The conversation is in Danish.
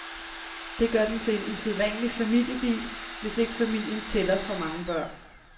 Det gør den til en usædvanlig familiebil, hvis ikke familien tæller for mange børn.